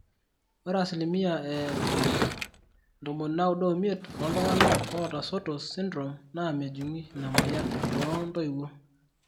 Ore asilimia e 95% ooltung'anak oota Sotos syndrome naa mejung ina moyian too intoiwuo.